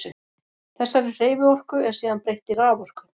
Þessari hreyfiorku er síðan breytt í raforku.